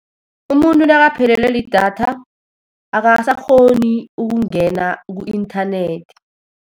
Umuntu nakaphelelwe lidatha, akasakghoni ukungena ku-inthanethi.